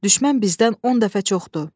Düşmən bizdən 10 dəfə çoxdur.